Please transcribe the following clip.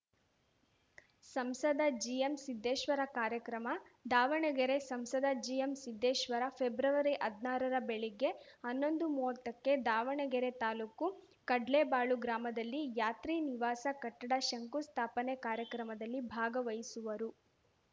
ಸಂಸದ ಜಿಎಂಸಿದ್ದೇಶ್ವರ ಕಾರ್ಯಕ್ರಮ ದಾವಣಗೆರೆ ಸಂಸದ ಜಿಎಂಸಿದ್ದೇಶ್ವರ ಫೆಬ್ರವರಿಹದ್ನಾರರ ಬೆಳಿಗ್ಗೆ ಹನ್ನೊಂದುಮುವತ್ತಕ್ಕೆ ದಾವಣಗೆರೆ ತಾಲೂಕು ಕಡ್ಲೇಬಾಳು ಗ್ರಾಮದಲ್ಲಿ ಯಾತ್ರಿ ನಿವಾಸ ಕಟ್ಟಡ ಶಂಕುಸ್ಥಾಪನೆ ಕಾರ್ಯಕ್ರಮದಲ್ಲಿ ಭಾಗವಹಿಸುವರು